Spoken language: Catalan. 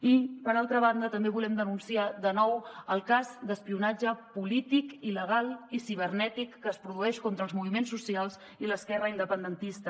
i per altra banda també volem denunciar de nou el cas d’espionatge polític il·legal i cibernètic que es produeix contra els moviments socials i l’esquerra independentista